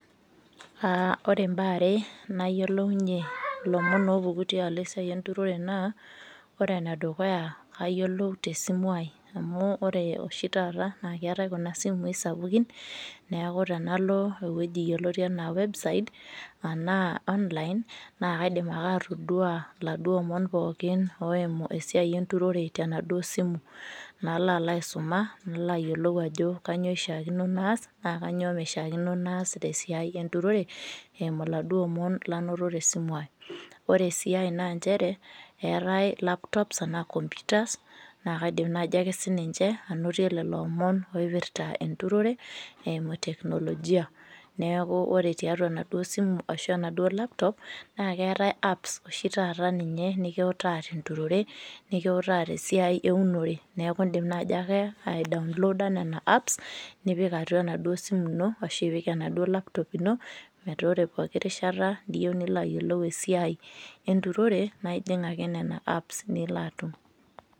Uh ore imbaa are nayiolounyie ilomon opuku tialo esiai enturore naa ore enedukuya kayiolou tesimu ai amu ore oshi taata naa keetae kuna simui sapukin neku tenalo ewueji yioloti enaa website anaa online naa kaidim ake atodua iladuo omon pookin oimu esiai enturore tenaduo simu nalo alo aisuma nalo ayiolou ajo kanyio ishiakino naas naa kanyio mishiakino naas tesiai enturore eimu iladuo omon lanoto tesimu ai ore sii ae naa nchere eetae laptops anaa computers naa kaidim naaji ake sininche anotie lelo omon oipirrta enturore eimu teknolojia neeku ore tiatua enaduo simu ashu enaduo laptop naa keetae apps oshi taata ninye nikiutaa tenturore nikiutaa tesiai eunore neku ore indim naaji ake ae daonloda nena apps nipik atua enaduo simu ino ashu ipik enaduo laptop ino metaa ore poki rishata niyieu nilo ayiolou esiai enturore naa ijing ake nena apps nilo atum.